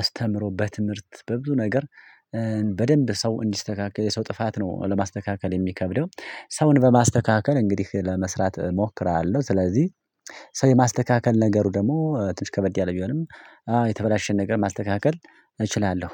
አስተምሮ በትምህርት በብዙ ነገር በደንብ ሰው እንዲስተካከል የሰው ጥፋት ነው ለማስተካከል የሚከብደው ሰውን በማስተካከል እንግዲህ ለመስራት እሞክራለሁ። ስለዚህ ሰው የማስተካከል ነገሩ ደግሞ ትንሽ ከበድ ያለ ቢሆንም የተበላሸን ነገር ማስተካከል እችላለሁ